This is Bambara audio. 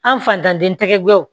An fantanden tɛgɛw